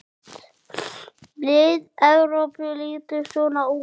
Lið Evrópu lítur svona út